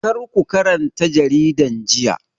Karku karanta jaridan jiya.